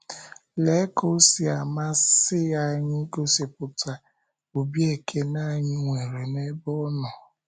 Lee ka o si amasị anyị igosipụta obi ekele anyị nwere n’ebe Ọ nọ!